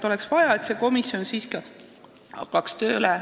Oleks vaja, et see komisjon hakkaks siiski varem tööle.